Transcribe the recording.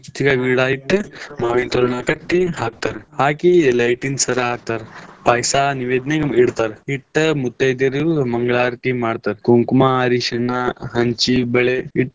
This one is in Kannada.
ಹಂಚಿ ಕಾಯಿ ಗಿಡಾ ಇಟ್ಟ ಮಾವಿನ ತೋರಣಾ ಕಟ್ಟಿ ಹಾಕ್ತಾರ್ ಹಾಕಿ light ನ್ ಸರಾ ಹಾಕ್ತಾರ ಪಾಯಸಾ ನೈವಿದ್ನೆಕ್ ಇಡ್ತಾರ್. ಇಟ್ಟ ಮುತೈದೆರೆಲ್ಲ ಮಂಗಳಾರತಿ ಮಾಡ್ತಾರ ಕುಂಕುಮಾ, ಅರಿಶಿಣ ಹಂಚಿನ್ ಬಳೆ.